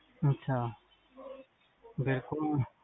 ਅੱਛਾ ਬਿਲਕੁਲ